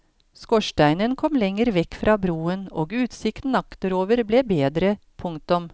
Skorsteinen kom lenger vekk fra broen og utsikten akterover ble bedre. punktum